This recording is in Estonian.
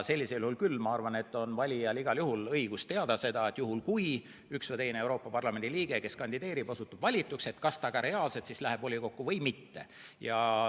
Ma arvan, et valijal on igal juhul õigus teada, et juhul kui Euroopa Parlamendi liige, kes kandideerib, osutub valituks, siis kas ta ka reaalselt läheb volikokku või mitte.